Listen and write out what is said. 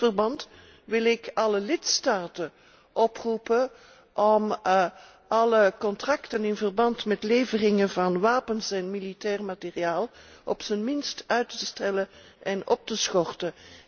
In dit verband wil ik alle lidstaten oproepen om alle contracten in verband met leveringen van wapens en militair materieel op zijn minst uit te stellen en op te schorten.